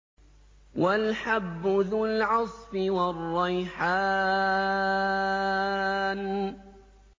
وَالْحَبُّ ذُو الْعَصْفِ وَالرَّيْحَانُ